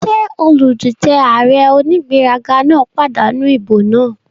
Ṣé olùdíjé ààrẹ onígbéraga náà pàdánù ìbò náà?